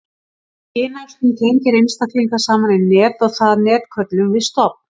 kynæxlun tengir einstaklinga saman í net og það net köllum við stofn